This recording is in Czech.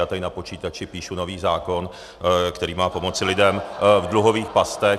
Já tady na počítači píšu nový zákon, který má pomoci lidem v dluhových pastech.